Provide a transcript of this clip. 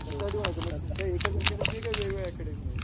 किती अकॅडमी आहे एकच अकॅडमी आहे का वेगवेगळ्या अकॅडमी आहेत?